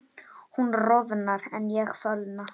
Hún roðnar en ég fölna.